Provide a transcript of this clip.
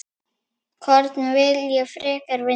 Hvorn vil ég frekar vinna?